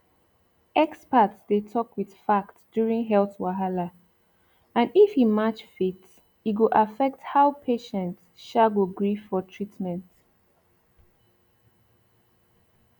experts dey talk with fact during health wahala and if e match faith e go affect how patient um go gree for treatment